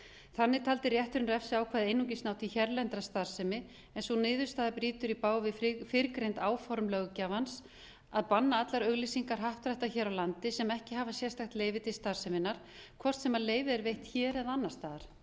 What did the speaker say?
þannig taldi rétturinn refsiákvæðið einungis ná til hérlendrar starfsemi en sú niðurstaða brýtur í bága við fyrrgreind áform löggjafans að banna allar auglýsingar happdrætta hér á landi sem ekki hafa sérstakt leyfi til starfseminnar hvort sem leyfið er veitt hér eða annars staðar